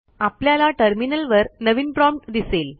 आपल्याला टर्मिनलवर नवीन प्रॉम्प्ट दिसेल